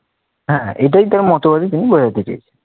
হ্যাঁ এটাই তার মতবাদে তিনি বুঝাতে চেয়েছেন।